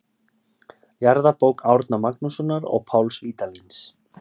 Jarðabók Árna Magnússonar og Páls Vídalíns.